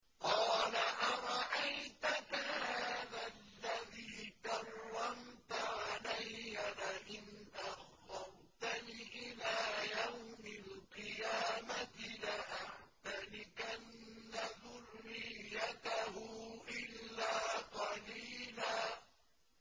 قَالَ أَرَأَيْتَكَ هَٰذَا الَّذِي كَرَّمْتَ عَلَيَّ لَئِنْ أَخَّرْتَنِ إِلَىٰ يَوْمِ الْقِيَامَةِ لَأَحْتَنِكَنَّ ذُرِّيَّتَهُ إِلَّا قَلِيلًا